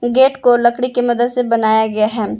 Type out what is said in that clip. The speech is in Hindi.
गेट को लकड़ी की मदद से बनाया गया है।